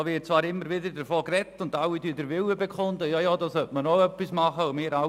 Darüber wird zwar immer gesprochen, und alle bekunden ihren guten Willen diesbezüglich.